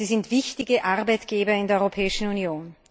Sie sind wichtige Arbeitgeber in der Europäischen Union.